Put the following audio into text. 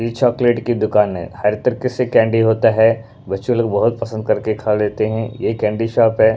ये चॉकलेट की दुकान हैहर तरीके से कैंडी होता हैबच्चे लोग बहुत पसंद करके खा लेते हैं ये कैंडी शॉप है।